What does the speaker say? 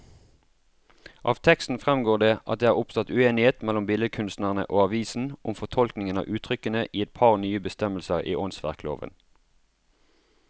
Av teksten fremgår det at det er oppstått uenighet mellom billedkunstnerne og avisene om fortolkningen av uttrykkene i et par nye bestemmelser i åndsverkloven.